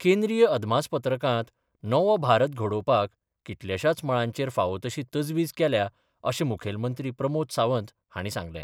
केंद्रीय अदमासपत्रकांत नवो भारत घडोवपाक कितल्याशाच मळांचेर फावो तशी तजवीज केल्या अशें मुखेलमंत्री प्रमोद सावंत हांणी सांगलें.